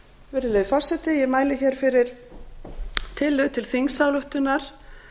virðulegi forseti ég mæli hér fyrir tillögu til þingsályktunar